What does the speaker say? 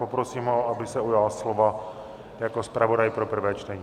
Poprosím ho, aby se ujal slova jako zpravodaj pro prvé čtení.